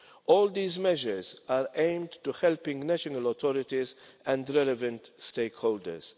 All these measures are aimed at helping national authorities and the relevant stakeholders.